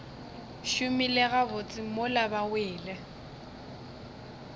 šomile gabotse mola ba wele